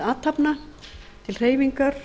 athafna til hreyfingar